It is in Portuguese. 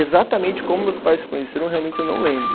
Exatamente como meus pais se conheceram, realmente eu não lembro.